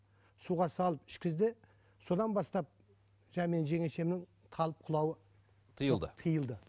суға салып ішкізді содан бастап жаңа менің жеңешемнің талып құлаюы тиылды тиылды